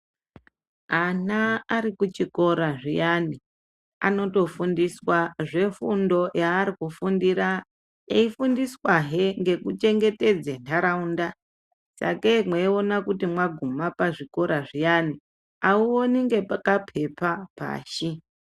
Ana ari kuchikora zviyani, anotofundiswa zvefundo yaari kufundira, eifundiswahe ngekuchengetedze ntaraunda. Sakei mweiona kuti mwaguma pazvikora zviyani, auoni ngepa kaphepha pashi.